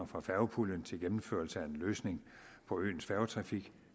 fra færgepuljen til gennemførelse af en løsning på øens færgetrafik